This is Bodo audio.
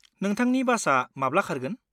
नोंथांनि बासआ माब्ला खारगोन?